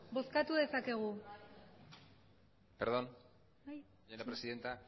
perdón señora presidenta